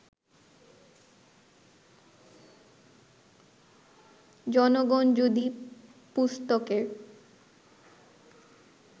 জনগণ যদি পুস্তকের